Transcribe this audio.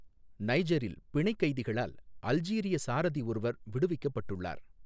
நைஜரில் பிணைக் கைதிகளால் அல்ஜீரிய சாரதி ஒருவர் விடுவிக்கப்பட்டுள்ளார்.